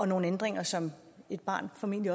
nogle ændringer som et barn formentlig